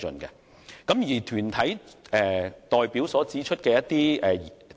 此外，團體代表提出了一些指引。